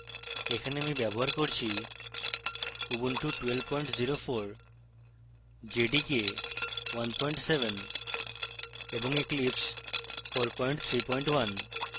এখানে আমি ব্যবহার করছি: উবুন্টু 1204 jdk 17 এবং eclipse 431